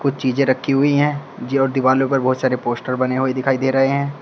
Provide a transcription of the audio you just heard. चीजें रखी हुई है दीवारों पर बहुत सारे पोस्टर बने हुए दिखाई दे रहे है।